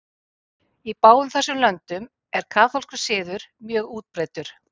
Í báðum þessum löndum er kaþólskur siður mjög útbreiddur.